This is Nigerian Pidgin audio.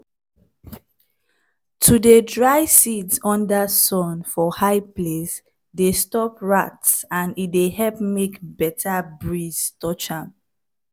to dey kip seeds dey help us not to dey buy different crops wey dem carry chemicals treat wey go spoil dey native taste.